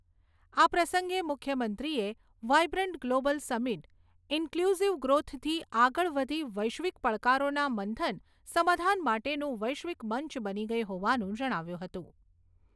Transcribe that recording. આ પ્રસંગે મુખ્યમંત્રીએ વાઇબ્રન્ટ ગ્લોબલ સમિટ ઇન્ફ્લુઝીવ ગ્રોથથી આગળ વધી વૈશ્વિક પડકારોના મંથન સામાધાન માટેનું વૈશ્વિક મંચ બની ગઈ હોવાનું જણાવ્યું હતું.